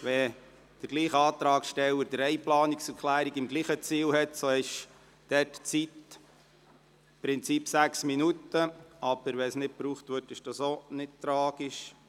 Wenn derselbe Antragsteller drei Planungserklärungen zum selben Ziel hat, so hat er im Prinzip sechs Minuten Zeit, aber wenn diese nicht gebraucht werden, ist dies auch nicht tragisch.